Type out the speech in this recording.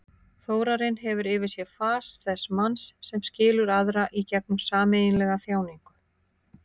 Þórarinn hefur yfir sér fas þess manns sem skilur aðra í gegnum sameiginlega þjáningu.